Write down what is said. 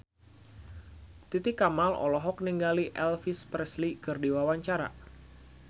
Titi Kamal olohok ningali Elvis Presley keur diwawancara